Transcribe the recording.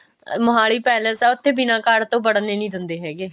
Mohali palace ਆ ਉੱਥੇ ਬਿਨਾ card ਤੋਂ ਵੜਨ ਹੀ ਨਹੀ ਦਿੰਦੇ ਹੈਗੇ